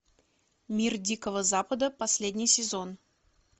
мир дикого запада последний сезон